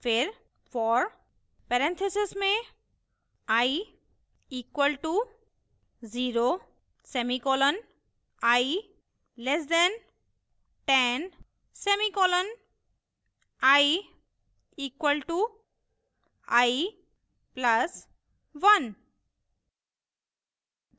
फिर for parenthesis में i equal to 0 semicolon i less than 10 semicolon i equal to i plus 1